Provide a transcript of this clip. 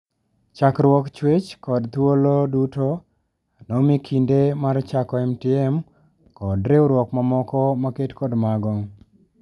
Chakruok, chuech kod thuolo duto nomikinde mar chako MTM kod riwruok mamoko maket kod mago.